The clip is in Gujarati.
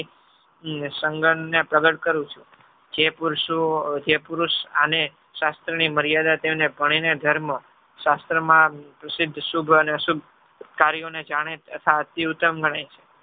સંઘનને પ્રગટ કરું છું. જે પુરુષો જે પુરુષ આને શાસ્ત્રની મર્યાદા તેને ગણીને ધર્મ શાસ્ત્રમાં પ્રસિદ્ધ શુભ અને અશુભ કાર્યોને જાણે તથા અતિ ઉત્તમ ગણાય છે.